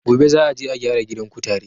Gobe za a je a gyara gidan kutare